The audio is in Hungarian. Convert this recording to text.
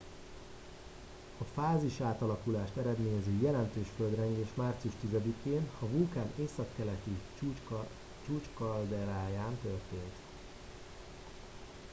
a fázisátalakulást eredményező jelentős földrengés március 10 én a vulkán északkeleti csúcskalderáján történt